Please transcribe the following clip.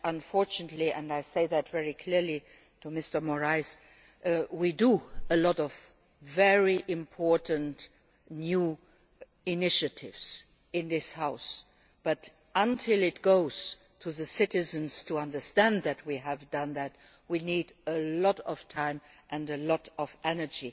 Unfortunately and I say this very clearly to Mr Moraes we take a lot of very important new initiatives in this House, but until citizens understand that we have done that, we need a lot of time and a lot of energy.